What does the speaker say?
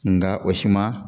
Nka o si ma